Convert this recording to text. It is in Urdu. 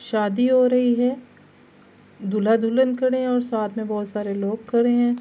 شادی ہو رہی ہے۔ دولہا دلہن کھڈے ہے اور ساتھ مے بھوت سارے لوگ کھڈے ہے۔